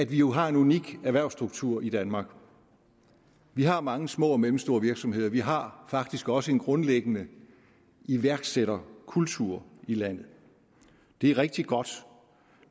vi jo har en unik erhvervsstruktur i danmark vi har mange små og mellemstore virksomheder vi har faktisk også en grundlæggende iværksætterkultur i landet det er rigtig godt